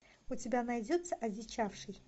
у тебя найдется одичавший